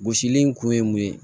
Gosili in kun ye mun ye